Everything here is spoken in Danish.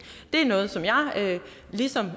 det er noget som jeg ligesom